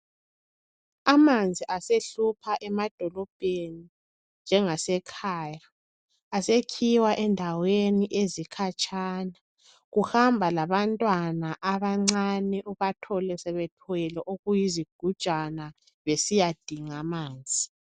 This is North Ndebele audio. Amanzi asehlupha emadolobheni njengase khaya asekhiwa endaweni ezikhatshana kuhamba labantwana abancane bathole sebethwele okuyizigujana besiyadinga amanzi.